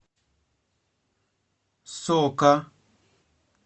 сока